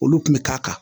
Olu kun bɛ k'a kan